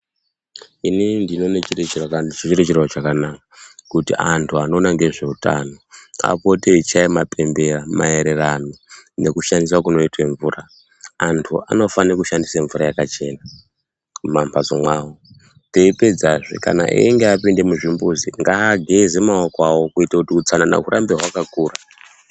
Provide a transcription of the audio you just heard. Inini ndinoona chiro chakanaka, kuti anthu anoona ngezve utano, apote eichaya mapembera, maererano nekushandiswa kunoitwa mvura. Anthu anofanira kushandisa mvura yakachena, muma mphatso mwawo. Teipedzazve kana einge apinda muzvimbuzi, ngaageze maoko awo kuita kuti utsanana hurambe hwakakura.